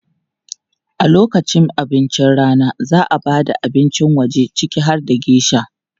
A lokacin abincin rana, za a ba da abincin waje ciki har da geisha.